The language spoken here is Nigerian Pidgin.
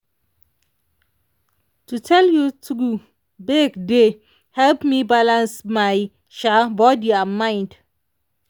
to tell you true break dey help me balance my um body and mind.